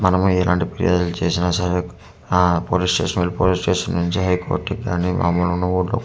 మనం ఏ రెండు ప్లేస్లు చూసిన సరే ఆ పోలీస్ స్టేషన్ వెళ్ళి పోలీస్ స్టేషన్ నుంచి హై కోర్ట్ కు కానీ .